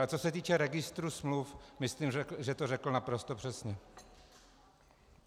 Ale co se týče registru smluv, myslím, že to řekl naprosto přesně.